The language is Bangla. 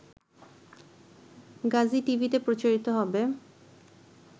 গাজীটিভিতে প্রচারিত হবে